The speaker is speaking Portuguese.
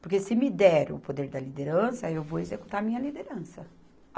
Porque se me der o poder da liderança, eu vou executar a minha liderança.